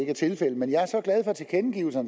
er tilfældet men jeg er så